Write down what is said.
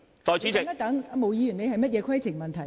毛孟靜議員，你有甚麼規程問題？